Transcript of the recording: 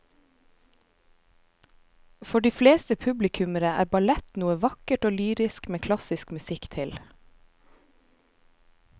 For de fleste publikummere er ballett noe vakkert og lyrisk med klassisk musikk til.